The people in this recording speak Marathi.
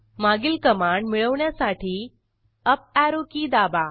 मागील कमांड मिळवण्यासाठी अप ऍरो की दाबा